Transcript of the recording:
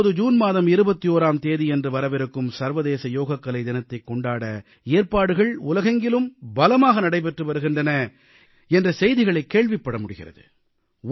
இப்போது ஜூன் மாதம் 21ஆம் தேதியன்று வரவிருக்கும் சர்வதேச யோகக்கலை தினத்தைக் கொண்டாட ஏற்பாடுகள் உலகெங்கிலும் பலமாக நடைபெற்று வருகின்றன என்ற செய்திகளைக் கேள்விப்பட முடிகிறது